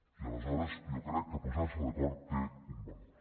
i aleshores jo crec que posar se d’acord té un valor